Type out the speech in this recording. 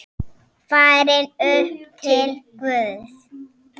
Farin upp til Guðs.